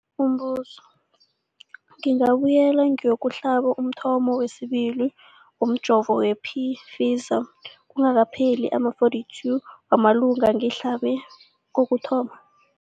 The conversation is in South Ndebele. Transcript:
Umbuzo, ngingabuyela ngiyokuhlaba umthamo wesibili womjovo we-Pfizer kungakapheli ama-42 wamalanga ngihlabe kokuthoma.